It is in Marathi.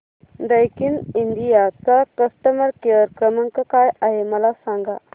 दैकिन इंडिया चा कस्टमर केअर क्रमांक काय आहे मला सांगा